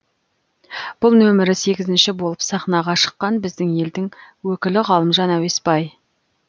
бұл нөмірі сегізінші болып сахнаға шыққан біздің елдің өкілі ғалымжан әуесбай